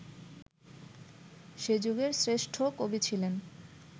সে যুগের শ্রেষ্ঠ কবি ছিলেন